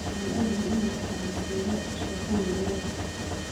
waxaan ogahay in ay tahay masiibo, sheeko murugo leh."